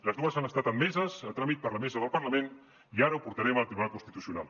les dues han estat admeses a tràmit per la mesa del parlament i ara ho portarem al tribunal constitucional